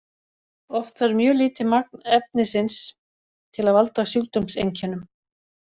Oft þarf mjög lítið magn efnisins til að valda sjúkdómseinkennum.